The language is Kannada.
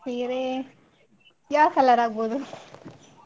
ಸೀರೆ ಯಾವ color ಆಗಬಹುದು.